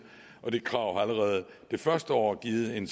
og det krav har allerede det første år givet en